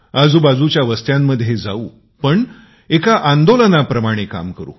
आजू बाजूच्या वस्त्यांमध्ये जाऊ पण एका आंदोलनाप्रणाने काम करू